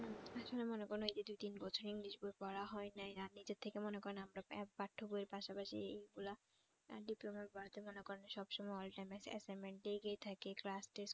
আসলে মনে করেন ঐযে দুই তিন বছর english বই পড়া হয় নাই আর নিজে থেকে মনে করেন আমরা পাঠ্য বইয়ের পাশাপাশি ইগুলা আহ diploma বাদে মনে করেন সব সময় all time assignment এগিয়ে থাকে class test